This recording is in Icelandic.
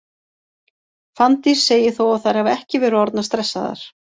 Fanndís segir þó að þær hafi ekki verið orðnar stressaðar.